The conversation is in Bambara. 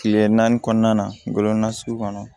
Kile naani kɔnɔna na ngɔmɔna sugu kɔnɔ